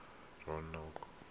ranoko